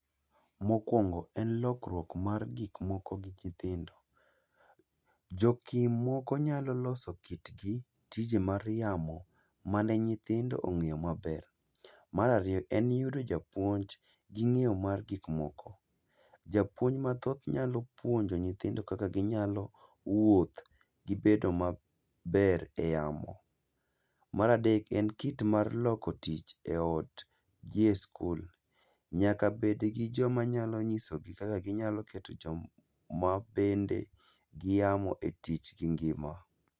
Mokwongo en lokruok mar gik moko gi nyithindo. Jokim moko nyalo loso kitgi tije mar yamo mane nyithindo ong'eyo maber. Marariyo en yudo japuomnj gi ng'iyo mar gikmoko, japuony mathoth nyalo puonjo nyithindo kaka ginyalo wuoth gi bedo maber e yamo. Maradek en kit mar loko tich e ot gi e skul, nyaka bedgi joma nyalo nyisogi kaka ginyalo keto joma bende giamo e tich gi ngima.